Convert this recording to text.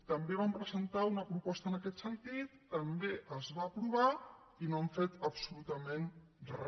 també vam presentar una proposta en aquest sentit també es va aprovar i no han fet absolutament re